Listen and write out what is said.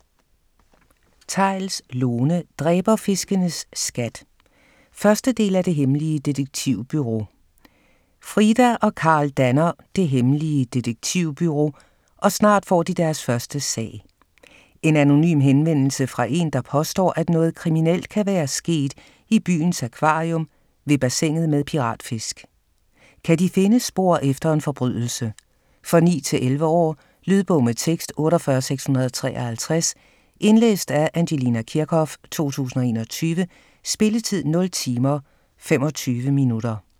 Theils, Lone: Dræberfiskenes skat 1. del af Det Hemmelige Detektivbureau. Frida og Karl danner "Det Hemmelige Detektivbureau", og snart får de deres første sag: En anonym henvendelse fra en, der påstår, at noget kriminelt kan være sket i byens akvarium ved bassinet med piratfisk. Kan de finde spor efter en forbrydelse? For 9-11 år. Lydbog med tekst 48653 Indlæst af Angelina Kirchhoff, 2021. Spilletid: 0 timer, 25 minutter.